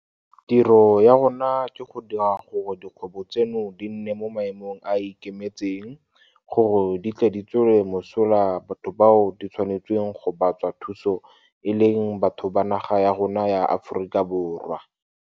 Tiro ya rona ke go dira gore dikgwebo tseno di nne mo maemong a a ikemetseng gore di tle di tswele mosola batho bao di tshwanetseng go ba tswa thuso e leng batho ba naga ya rona ya Aforika Borwa.